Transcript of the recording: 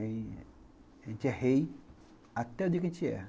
A gente é rei até o dia que a gente erra.